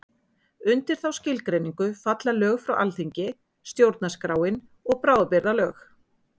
Undir þá skilgreiningu falla lög frá Alþingi, stjórnarskráin og bráðabirgðalög.